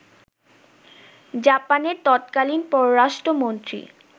জাপানের তৎকালীন পররাষ্ট্রমন্ত্রী